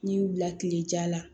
N'i y'u bila kilejan la